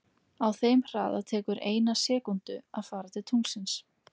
Á þeim hraða tekur eina sekúndu að fara til tunglsins.